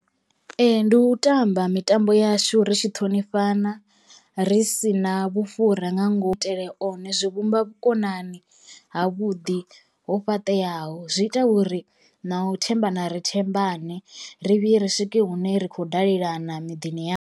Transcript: Ee ndi u tamba mitambo yashu ri tshi ṱhonifhana ri si na vhufhura nga ngomu ku itele kone zwi vhumba vhukonani ha vhuḓi ho fhaṱeaho zwi ita uri na u thembana ri thembane ri vhuye ri swike hune ri khou dalelana miḓini yashu.